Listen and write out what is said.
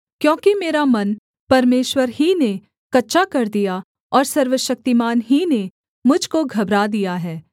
क्योंकि मेरा मन परमेश्वर ही ने कच्चा कर दिया और सर्वशक्तिमान ही ने मुझ को घबरा दिया है